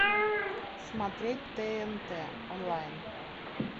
смотреть тнт онлайн